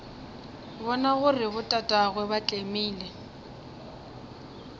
bona gore botatagwe ba tlemile